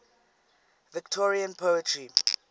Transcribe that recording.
victorian poetry